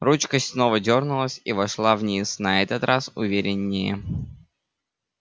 ручка снова дёрнулась и вошла вниз на этот раз увереннее